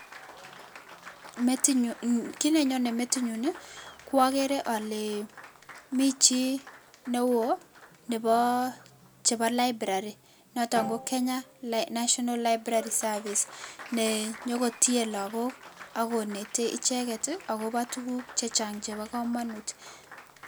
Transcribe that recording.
Kiit ne nyonei metinyun ko ageere ale mi chi neo chebo library notok ko Kenya National Library Service nenyoko tie lakok ako netei icheket akobo tuguk chechang chebo kamanut.